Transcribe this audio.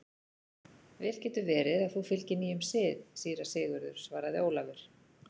Vel getur verið að þú fylgir nýjum sið, síra Sigurður, svaraði Ólafur.